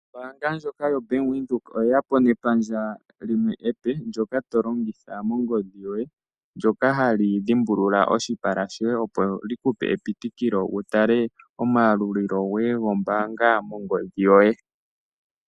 Ombanga ndjoka ya Bank Windhoek oyeya po nepandja limwe epe ndyoka to longitha mongodhi yoye, ndyoka hali dhimbulula oshipala shoye opo li kupe epitikilo wutale omayalulilo ngoye goombanga mongodhi yoye.